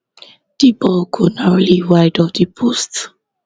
di ball go narrowly wide of di post